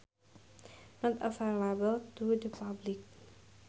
Not available to the public